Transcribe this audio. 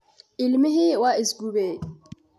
Ilmihii waa is gubay.